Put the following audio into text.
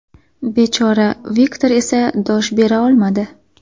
Bechora Viktor esa dosh bera olmadi.